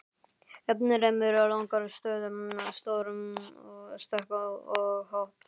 Ennfremur langar stöður, stór stökk og hopp.